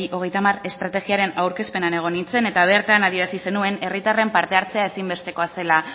hogeita hamar estrategiaren aurkezpenean egon nintzen eta bertan adierazi zenuen herritarren parte hartzea ezin bestekoa zela